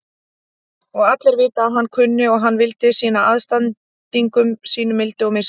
Og allir vita að hann kunni og vildi sýna andstæðingum sínum mildi og miskunn.